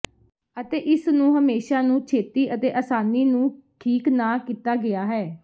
ਅਤੇ ਇਸ ਨੂੰ ਹਮੇਸ਼ਾ ਨੂੰ ਛੇਤੀ ਅਤੇ ਆਸਾਨੀ ਨੂੰ ਠੀਕ ਨਾ ਕੀਤਾ ਗਿਆ ਹੈ